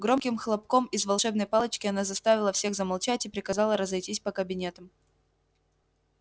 громким хлопком из волшебной палочки она заставила всех замолчать и приказала разойтись по кабинетам